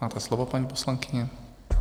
Máte slovo, paní poslankyně.